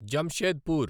Jamshedpur